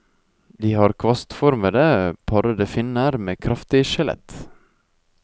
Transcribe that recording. De har kvastformete, parrete finner med kraftig skjelett.